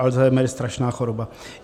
Alzheimer je strašná choroba.